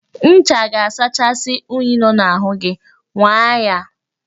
Ncha ga-asachasị unyi nọ n'ahụ gi, nwaa ya